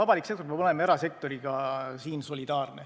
Avalik sektor peab olema erasektoriga solidaarne.